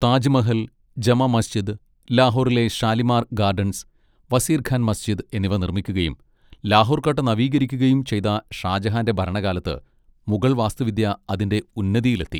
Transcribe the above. താജ്മഹൽ, ജമാ മസ്ജിദ്, ലാഹോറിലെ ഷാലിമാർ ഗാഡൻസ്, വസീർ ഖാൻ മസ്ജിദ്, എന്നിവ നിർമ്മിക്കുകയും ലാഹോർ കോട്ട നവീകരിക്കുകയും ചെയ്ത ഷാജഹാന്റെ ഭരണകാലത്ത് മുഗൾ വാസ്തുവിദ്യ അതിന്റെ ഉന്നതിയിലെത്തി.